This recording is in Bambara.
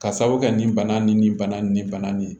Ka sabu kɛ nin bana nin ni bana nin bana nin ye